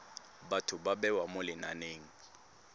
batho ba bewa mo lenaneng